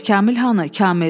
Bəs Kamil hanı, Kamil?